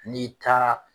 N'i taara